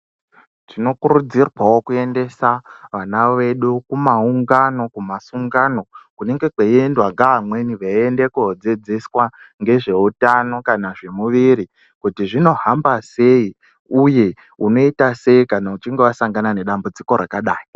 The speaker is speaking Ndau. Tinokurudzirwawo kuendesa vana vedu kumaungano kumasungano kunenge kweiendwa ngeamweni veiende kodzidziswa ngezveutano kana zvemuviri kuti zvinohamba sei uye unoita sei kana uchinge wasangana nedambudziko rakadai.